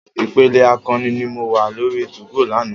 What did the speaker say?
Ìpele akọni ni mo wá lórí 2go lánàá.